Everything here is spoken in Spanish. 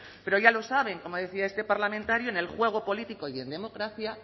pero ya lo saben como decía este parlamentario en el juego político y en democracia